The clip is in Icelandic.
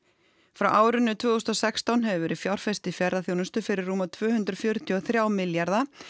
frá árinu tvö þúsund og sextán hefur verið fjárfest í ferðaþjónustu fyrir rúma tvö hundruð fjörutíu og þrjú milljarða